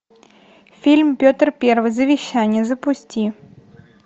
фильм петр первый завещание запусти